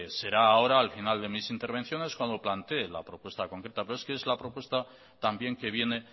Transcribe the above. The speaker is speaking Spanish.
será a hora al final de mis intervenciones cuando plantee la propuesta concreta pero es que es la propuesta también que viene